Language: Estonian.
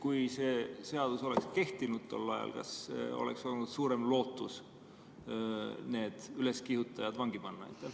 Kui see seadus oleks tol ajal kehtinud, kas siis oleks olnud suurem lootus need üleskihutajad vangi panna?